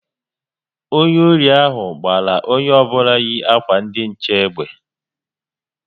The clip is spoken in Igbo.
Ndị ori ahụ gbara onye ọbụla yi akwa ndi nche egbe